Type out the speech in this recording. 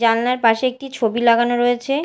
জানলার পাশে একটি ছবি লাগানো রয়েছে।